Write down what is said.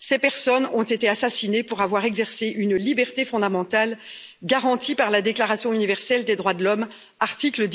Ces personnes ont été assassinées pour avoir exercé une liberté fondamentale garantie par la Déclaration universelle des droits de l'homme, article